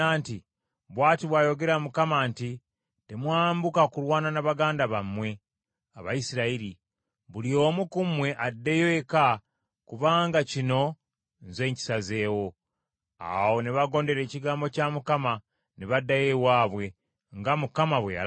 ‘Bw’ati bw’ayogera Mukama nti, Temwambuka kulwana ne baganda bammwe, Abayisirayiri. Buli omu ku mmwe addeyo eka kubanga kino nze nkisazeewo.’ ” Awo ne bagondera ekigambo kya Mukama , ne baddayo ewaabwe, nga Mukama bwe yalagira.